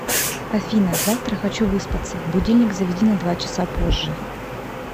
афина завтра хочу выспаться будильник заведи на два часа позже